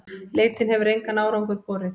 Leitin hefur engan árangur borið.